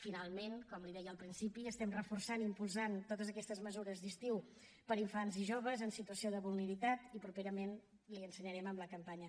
finalment com li deia al principi estem reforçant i impulsant totes aquestes mesures d’estiu per a infants i joves en situació de vulnerabilitat i properament l’hi ensenyarem amb la campanya